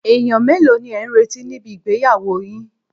Èèyàn mélòó ni ẹ̀ ń retí níbi ìgbéyàwó yin